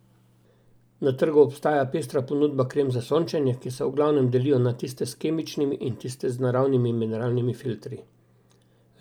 Na trgu obstaja pestra ponudba krem za sončenje, ki se v glavnem delijo na tiste s kemičnimi in tiste z naravnimi mineralnimi filtri.